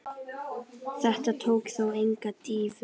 Þetta tók þó enga dýfu.